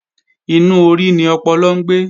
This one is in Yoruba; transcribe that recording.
Inú orí ni ọpọlọ ń gbé